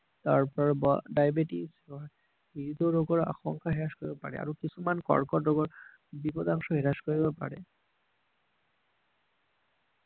তাৰ পৰা ডাইবেটিছ ৰোগৰ আশংকা শেষ কৰিব পাৰে আৰু কিছুমান কৰ্কট ৰোগত বিপধ্বংসা বিনাশ কৰিব পাৰে